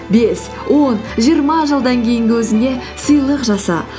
бес он жиырма жылдан кейінгі өзіңе сыйлық жаса